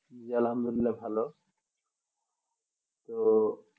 আলহামদুলিল্লাহ ভালো